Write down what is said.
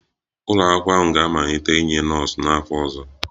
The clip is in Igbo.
Ụlọ akwụkwọ ahụ ga-amalite inye nọọsụ n'afọ ọzọ